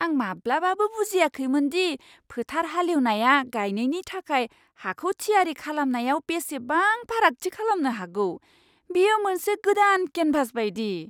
आं माब्लाबाबो बुजियाखैमोन दि फोथार हालेवनाया गायनायनि थाखाय हाखौ थियारि खालामनायाव बेसेबां फारागथि खालामनो हागौ। बेयो मोनसे गोदान केनभास बायदि!